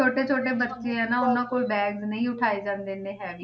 ਛੋਟੇ ਛੋਟੇ ਬੱਚੇ ਆ ਨਾ, ਉਹਨਾਂ ਕੋਲ bag ਨਹੀਂ ਉਠਾਏ ਜਾਂਦੇ ਇੰਨੇ heavy